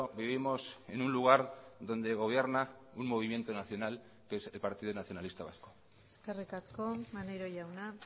vivimos en un lugar donde gobierna un movimiento nacional que es el partido nacionalista vasco eskerrik asko maneiro jauna